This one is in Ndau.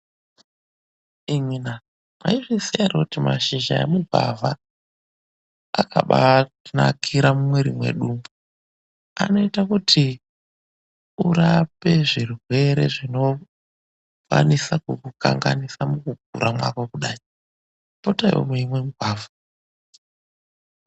Imwina, mwaizviziya ere kuti mashizha emugwavha akabaatinakira mumwiri mwedu umu. Anoita kuti urape zvirwere zvinokwanisa kukukanganisa mukukura mwako kudai. Potaiwo meimwa mugwavha.